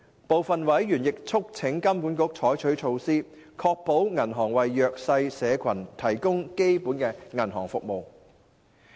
部分委員亦促請金管局採取措施，確保銀行為弱勢社群提供基本銀行服務。